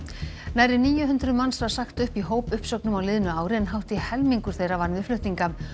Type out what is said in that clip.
nærri níu hundruð manns var sagt upp í hópuppsögnum á liðnu ári en hátt í helmingur þeirra vann við flutninga